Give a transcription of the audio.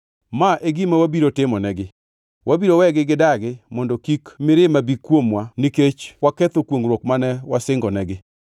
Ma e gima wabiro timonegi: ‘Wabiro wegi gidagi mondo kik mirima bi kuomwa nikech waketho kwongʼruok mane wasingonegi.’ ”